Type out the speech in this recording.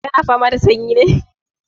Ka na fama da sanyi ne?